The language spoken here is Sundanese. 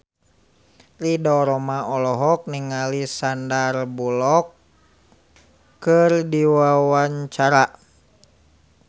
Ridho Roma olohok ningali Sandar Bullock keur diwawancara